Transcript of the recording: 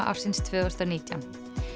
ársins tvö þúsund og nítján